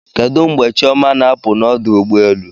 Kedu mgbe Chioma na-apụ n'ọdụ ụgbọelu?